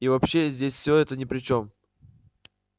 и вообще здесь всё это ни при чем